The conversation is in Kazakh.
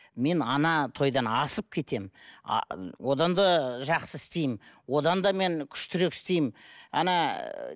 мен тойдан асып кетемін одан да жақсы істеймін одан да мен күштірек істеймін